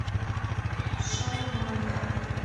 шаурмания